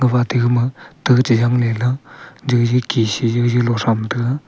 wa ate ga ma tale Jang le lah jiji Kechi jiji law tham tega.